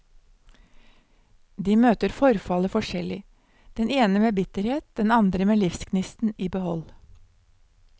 De møter forfallet forskjellig, den ene med bitterhet, den andre med livsgnisten i behold.